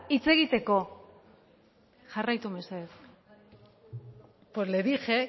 hitz egiteko jarraitu mesedez pues le dije